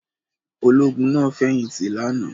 Ológun náà fẹ̀yìntì lánàá?